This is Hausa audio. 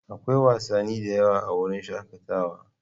Akwai wasanni da yawa a wurin shakatawa.